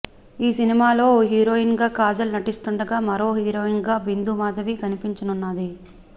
ఈ సినిమాలో ఓ హీరోయిన్ గా కాజల్ నటిస్తుండగా మరో హీరోయిన్ గా బిందు మాధవి కనిపించనున్నది